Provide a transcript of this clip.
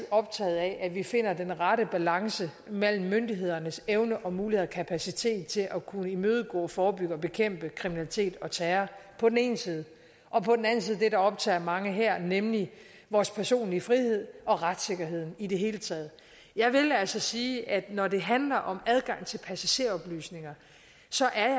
optaget af at vi finder den rette balance mellem myndighedernes evner muligheder og kapacitet til at kunne imødegå forebygge og bekæmpe kriminalitet og terror på den ene side og på den anden side det der optager mange her nemlig vores personlige frihed og retssikkerhed i det hele taget jeg vil altså sige at når det handler om adgang til passageroplysninger